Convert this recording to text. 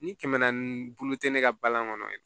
Ni kɛmɛ naani bulu tɛ ne ka balan kɔnɔ